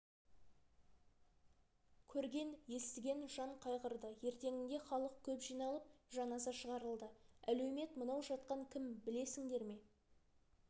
көрген естіген жан қайғырды ертеңінде халық көп жиналып жаназа шығарылды әлеумет мынау жатқан кім білесіңдер ме